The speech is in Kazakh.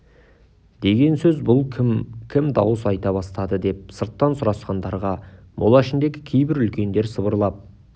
деген сөз бұл кім кім дауыс айта бастады деп сырттан сұрасқандарға мола ішіндегі кейбір үлкендер сыбырлап